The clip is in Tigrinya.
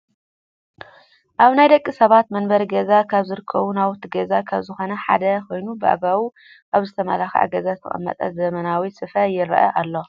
ኣብ ናይ ደቂ ሰባት መንበሪ ገዛ ካብ ዝርከቡ ናውቲ ገዛ ካብ ዝኮኑ ሓደ ኮይኑ ብአግባቡ ኣብ ዝተመላከዐ ገዛ ዝተቀመጠ ዘመናዊ ሶፋ ይረአ ኣሎ።